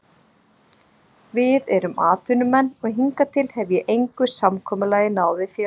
VIð erum atvinnumenn og hingað til hef ég engu samkomulagi náð við félagið.